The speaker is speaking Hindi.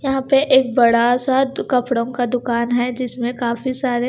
यहां पे एक बड़ा सा कपड़ों का दुकान है जिसमें काफी सारे--